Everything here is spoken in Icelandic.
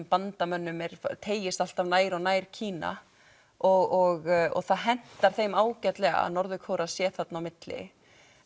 bandamönnum teygist alltaf nær og nær Kína og það hentar þeim ágætlega að Norður Kórea sé þarna á milli